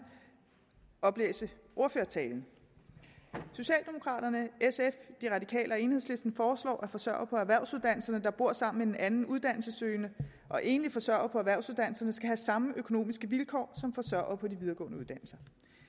oplæse ordførertalen socialdemokraterne sf de radikale og enhedslisten foreslår at forsørgere på erhvervsuddannelserne der bor sammen med en anden uddannelsessøgende og enlige forsørgere på erhvervsuddannelserne skal have samme økonomiske vilkår som forsørgere på de videregående uddannelser